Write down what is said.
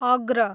अग्र